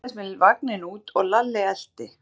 Hann dröslaðist með vagninn út og Lalli elti.